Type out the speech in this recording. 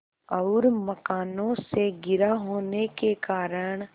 और मकानों से घिरा होने के कारण